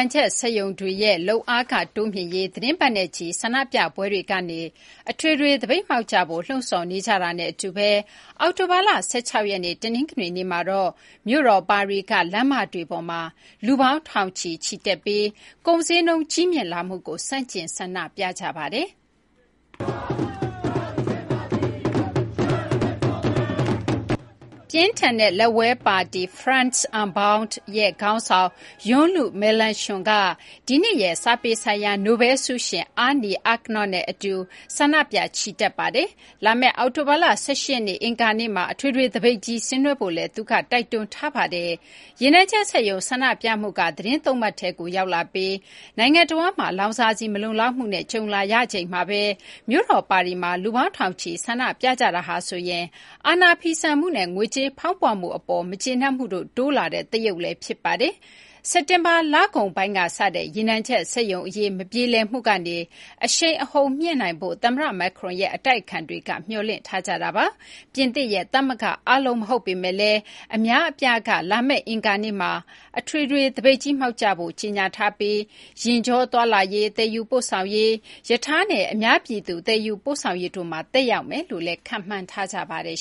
ံချက် စက်ရုံတွေရဲ့ လုပ်အားခ တိုးမြှင့်ရေး သတင်းပတ်နဲ့ချီ ဆန္ဒပြပွဲတွေကနေ အထွေထွေ သပိတ်မှောက်ကြဖို့ လှုံ့ဆော်နေကြတာနဲ့ အတူ အောက်တိုဘာလ ၁၆ ရက်နေ့ တနင်္ဂနွေနေ့မှာတော့ မြို့တော် ပါရီက လမ်းမတွေပေါ်မှာ လူပေါင်း ထောင်ချီ ချီတက်ပြီး ကုန်ဈေးနှုန်း ကြီးမြင့်လာမှုကို ဆန့်ကျင် ဆန္ဒပြခဲ့ကြပါတယ်။ ပြင်းထန်တဲ့ လက်ဝဲ ပါတီ France Unbowed (LFI) ရဲ့ ခေါင်းဆောင် Jean-Luc Melenchon က ဒီနှစ်ရဲ့ စာပေ ဆိုင်ရာ နိုဘဲလ် ဆုရှင် Annie Ernaux နဲ့ အတူ ဆန္ဒပြ ချီတက်ခဲ့ပါတယ်။ လာမယ့် အောက်တိုဘာလ ၁၈ ရက်နေ့ အင်္ဂါနေ့မှာ အထွေထွေ သပိတ်ကြီး ဆင်နွှဲဖို့လည်း သူက တိုက်တွန်းထားပါတယ်။ ရေနံချက် စက်ရုံ ဆန္ဒပြမှုက သီတင်း ၃ ပတ်ထဲကို ရောက်လာပြီး နိုင်ငံတဝန်းမှာ လောင်စာဆီ မလုံလောက်မှုနဲ့ ကြုံလာရချိန်မှာဘဲ မြို့တော် ပါရီမှာ လူပေါင်း ထောင်ချီ ဆန္ဒပြကြတာဟာဆိုရင် အာဏာဖီဆန်မှုနဲ့ ငွေကြေးဖောင်းပွမှု အပေါ် မကျေနပ်မှုတို့ တိုးလာတဲ့ သရုပ်လည်း ဖြစ်ပါတယ်။ စက်တင်ဘာ လကုန်ပိုင်းက စတဲ့ ရေနံချက် စက်ရုံ အရေး မပြေလည်မှုကနေ အရှိန်အဟုန် မြှင့်နိုင်ဖို့ သမ္မတ Macron ရဲ့ အတိုက်အခံတွေက မျှော်လင့်ထားကြတာပါ။ ပြင်သစ်ရဲ့ သမဂ္ဂ အားလုံး မဟုတ်ပေမယ့်လည်း အများအပြားက လာမယ့် အင်္ဂါနေ့မှာ အထွေထွေ သပိတ်ကြီးမှောက်ကြဖို့ ကြေညာထားပြီး ယာဉ်ကြော သွားလာရေး၊ သယ်ယူပို့ဆောင်ရေး၊ ရထားနဲ့ အများပြည်သူ သယ်ယူပို့ဆောင်ရေးတို့မှာ သက်ရောက်မယ်လို့လည်း ခန့်မှန်းထားကြပါတယ်